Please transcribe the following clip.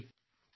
Sunil